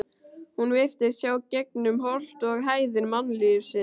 Hún virtist sjá gegnum holt og hæðir mannlífsins.